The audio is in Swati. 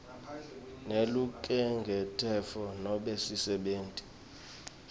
nelukhenkhetfo nobe sisebenti